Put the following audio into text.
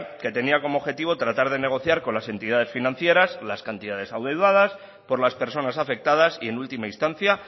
que tenía como objetivo tratar de negociar con las entidades financieras las cantidades adeudadas por las personas afectadas y en última instancia